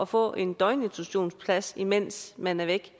få en døgninstitutionsplads mens man er væk